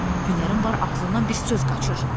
Hünərin var ağzından bir söz qaçır.